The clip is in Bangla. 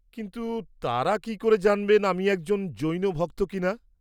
কিন্তু তাঁরা কি করে জানবেন আমি একজন জৈন ভক্ত কিনা?